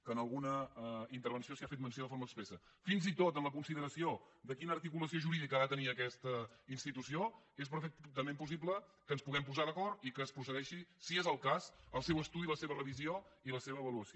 que en alguna intervenció s’hi ha fet menció de forma expressa fins i tot en la consideració de quina articulació jurídica ha de tenir aquesta institució és perfectament possible que ens puguem posar d’acord i que es procedeixi si és el cas al seu estudi la seva revisió i la seva avaluació